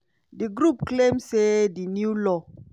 di group claim say di new law